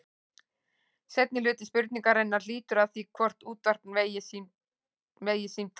Seinni hluti spurningarinnar lýtur að því hvort útvarpa megi símtali.